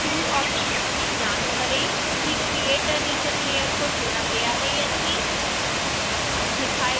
tool options में जाँच करें कि create a region layer को चुना गया है या नहीं